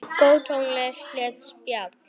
Góð tónlist og létt spjall.